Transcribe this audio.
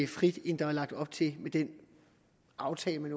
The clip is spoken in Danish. frit end der er lagt op til med den aftale man